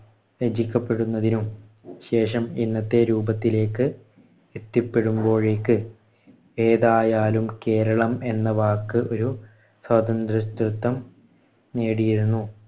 രചിക്കപെടുന്നതിനും ശേഷം ഇന്നത്തെ രൂപത്തിലേക്ക് എത്തിപ്പെടുമ്പോഴേക്ക് ഏതായാലും കേരളം എന്ന വാക്ക് ഒരു സ്വാതന്ത്ര്യത്വത്വം നേടിയിരുന്നു.